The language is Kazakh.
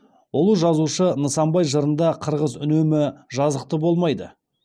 ұлы жазушы нысанбай жырында қырғыз үнемі жазықты болмайды